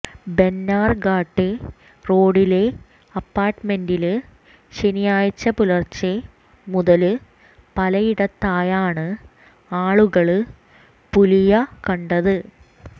ബെന്നാര്ഘട്ടെ റോഡിലെ അപ്പാര്ട്ട്മെന്റില് ശനിയാഴ്ച പുലര്ച്ചെ മുതല് പലയിടത്തായാണ് ആളുകള് പുലിയ കണ്ടത്